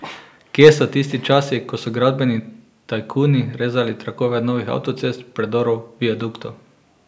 Kje so tisti časi, ko so gradbeni tajkuni rezali trakove novih avtocest, predorov, viaduktov.